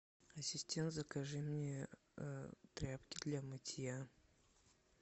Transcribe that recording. ассистент закажи мне тряпки для мытья